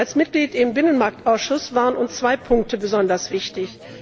Als Mitglieder im Binnenmarktausschuss waren uns zwei Punkte besonders wichtig.